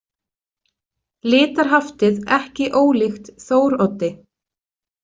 Litarhaftið ekki ólíkt Þóroddi.